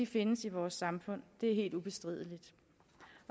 findes i vores samfund det er helt ubestrideligt